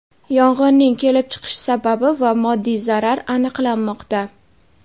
Yong‘inning kelib chiqish sababi va moddiy zarar aniqlanmoqda.